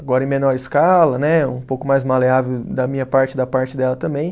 Agora em menor escala né, um pouco mais maleável da minha parte e da parte dela também.